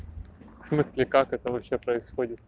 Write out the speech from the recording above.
в смысле как это вообще происходит